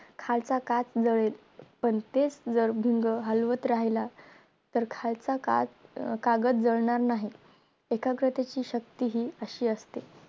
खालचा काट जळेल पण तेच जर भिंग हलवत राहीला तर खालचा काट कागद जळणार नाही. एकाग्रतेची शक्ती हि अशी असते.